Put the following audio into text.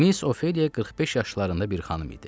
Miss Ofeliya 45 yaşlarında bir xanım idi.